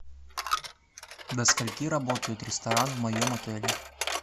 до скольки работает ресторан в моем отеле